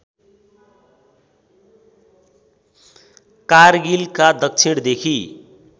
कारगिलका दक्षिणदेखि